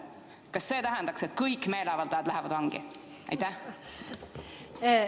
Kas see tähendaks, et kõik meeleavaldajad lähevad vangi?